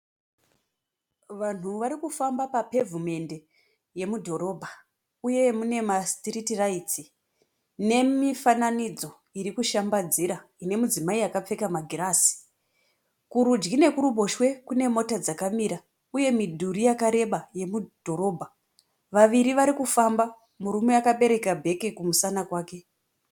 Vanhu vari kufamba papevhimendi yemudhorobha uye mune masitiriti raiti nemifananidzo iri kushambadzira ine mudzimai akapfeka magirazi. kurudyi nekuruboshwe kune mota dzakamira uye midhuri yakareba yemudhorobha. Vaviri vari kufamba, murume akabereka bheke kumusana kwake.